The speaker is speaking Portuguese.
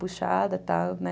Puxada, tal, né?